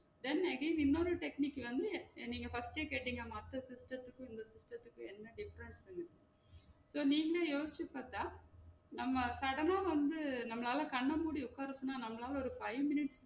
Then again இன்னொரு technique வந்து, நீங்க first எ கேட்டிங்க மத்த system துக்கு இந்த system துக்கு என்ன difference னு so நீங்களே யோசிச்சி பாத்தா நம்ம sudden ஆ வந்து நம்மளால கண்ணமூடி உக்கார சொன்னா நம்மளால ஒரு five minutues